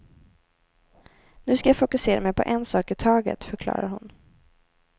Nu ska jag fokusera mig på en sak i taget, förklarar hon.